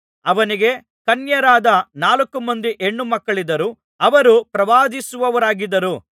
ಅವನಿಗೆ ಕನ್ಯೆಯರಾದ ನಾಲ್ಕುಮಂದಿ ಹೆಣ್ಣು ಮಕ್ಕಳಿದ್ದರು ಅವರು ಪ್ರವಾದಿಸುವವರಾಗಿದ್ದರು